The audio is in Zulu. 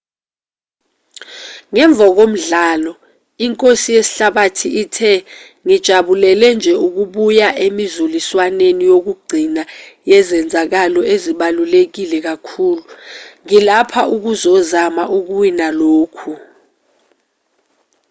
ngemva komdlalo inkosi yesihlabathi ithe ngijabulele nje ukubuya emizuliswaneni yokugcina yezenzakalo ezibaluleke kakhulu ngilapha ukuzozama ukuwina lokhu